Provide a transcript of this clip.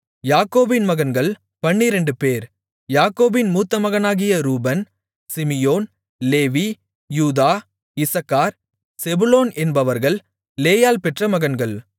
யாக்கோபின் மகன்கள் பன்னிரண்டுபேர் யாக்கோபின் மூத்தமகனாகிய ரூபன் சிமியோன் லேவி யூதா இசக்கார் செபுலோன் என்பவர்கள் லேயாள் பெற்ற மகன்கள்